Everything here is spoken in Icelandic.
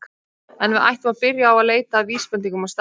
En við ættum að byrja á að leita að vísbendingum á staðnum.